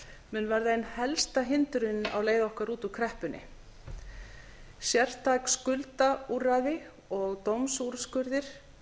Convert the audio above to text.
mun verða ein helsta hindrunin á leið okkar út úr kreppunni sértæk skuldaúrræði og dómsúrskurðir